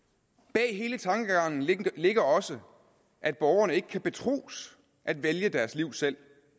bag hele tankegangen ligger også at borgerne ikke kan betros at vælge deres liv selv